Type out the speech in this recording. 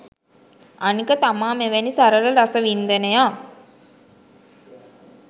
අනික තමා මෙවැනි සරල රසවින්දනයක්